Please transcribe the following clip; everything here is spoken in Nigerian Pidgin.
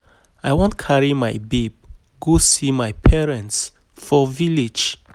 I wan carry my babe go see my parents for for village